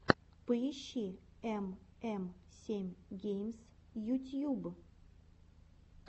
поищи эм эм семь геймс ютьюб